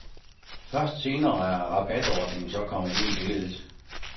Først senere er rabatordningen så kommet ind i billedet.